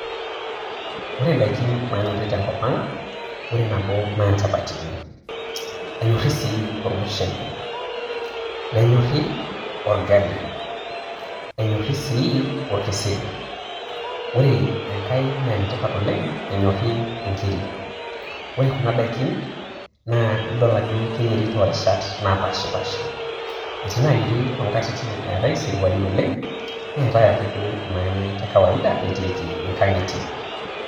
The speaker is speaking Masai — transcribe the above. Ore indaiki nanyori te nkop ang', ore nabo naa inchapatini, enyori sii olmushele, nenyorri olgali, enyori sii olkeseri, ore enkai naa enetipat oleng' enyori inkiri. Ore kuna daiki naa idol ajo keyieri too rishat naapashipaasha. Etii naayeri too nkatitin eetai isirwai oleng', neetai ake duo nanya kawaida etiiki inkang'ite.